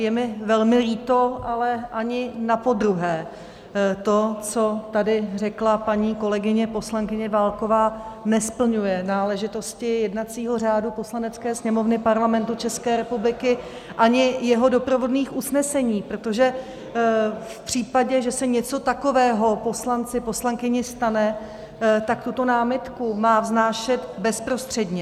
Je mi velmi líto, ale ani napodruhé to, co tady řekla paní kolegyně poslankyně Válková, nesplňuje náležitosti jednacího řádu Poslanecké sněmovny Parlamentu České republiky ani jeho doprovodných usnesení, protože v případě, že se něco takového poslanci poslankyni stane, tak tuto námitku má vznášet bezprostředně.